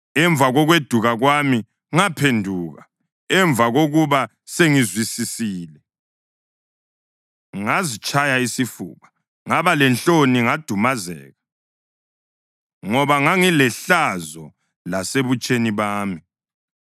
Emva kokweduka kwami, ngaphenduka; emva kokuba sengizwisisile, ngazitshaya isifuba. Ngaba lenhloni ngadumazeka ngoba ngangilehlazo lasebutsheni bami.’